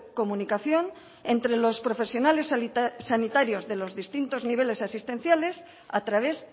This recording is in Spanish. comunicación entre los profesionales sanitarios de los distintos niveles asistenciales a través